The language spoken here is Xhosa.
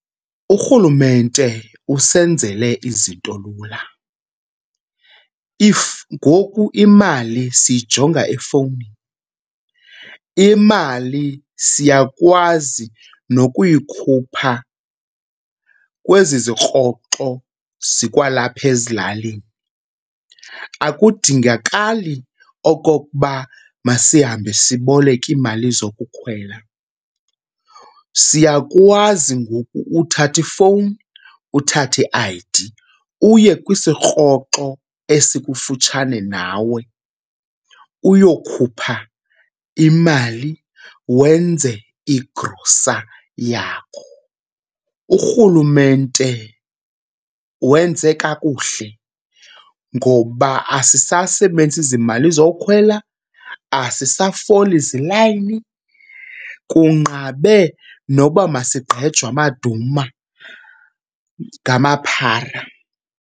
URhulumente usenzele izinto lula if, ngoku imali siyijonga efowunini. Imali siyakwazi nokuyikhupha kwezi zikroxo zikwalapha ezilalini, akudingakali okokuba masihambe siboleka imali zokukhwela. Siyakwazi ngoku uthatha ifowuni, uthathe i-I_D uye kwisikroxo esikufutshane nawe uyokhupha imali wenze igrosa yakho. URhulumente wenze kakuhle ngoba asisasebenzisi zimali zokhwela, asisafoli zilayini. Kunqabe noba masigqejwe amaduma ngamaphara.